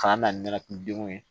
K'an na ni ne denw ye